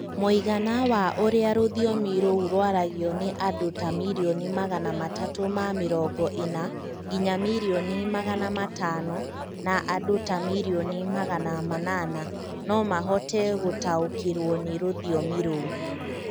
mũigana wa ũria rũthiomi rũu rwaragio nĩ andũ ta mirioni magana matatũ ma mirongo ina[ 340] nginya mirioni magana matano[500], na andũ ta mirioni magana manana[800] no mahote gũtaũkĩrũo nĩ rũthiomi rũu.